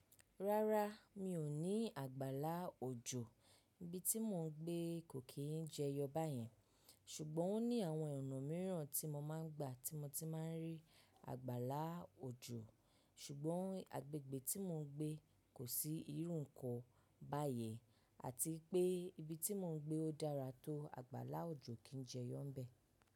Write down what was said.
Rárá, mi ò ní àgbàlá òjò. Ibi tí mò ń gbé kò kí ń jẹyọ báyẹn. Ṣùgbọ́n ó ní àwọn ọ̀nà mìíràn tí mo máa ń gbà tí mo ti máa ń rí àgbàlá òjò. Ṣùgbọ́n agbègbè tí mò ń gbé kò sí irú ǹkan báyé àti pé ibi tí mò ń gbé ó dára tó àgbàra òjò kí ń jẹyọ ń bẹ̀.